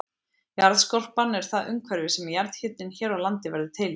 Jarðskorpan er það umhverfi sem jarðhitinn hér á landi verður til í.